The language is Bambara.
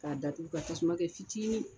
K'a datugu ka tasuma kɛ ficini.